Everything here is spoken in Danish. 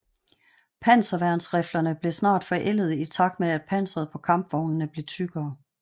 Panserværnsriflerne blev snart forældede i takt med at panseret på kampvognene blev tykkere